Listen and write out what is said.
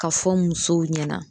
Ka fɔ musow ɲɛna